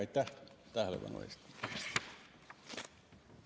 Aitäh tähelepanu eest!